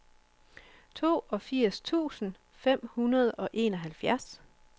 toogfirs tusind fem hundrede og enoghalvfjerds